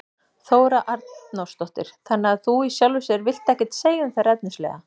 Þóra Arnórsdóttir: Þannig að þú í sjálfu sér vilt ekkert segja um þær efnislega?